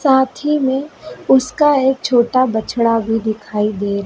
साथ ही में उसका एक छोटा बछड़ा भी दिखाई दे--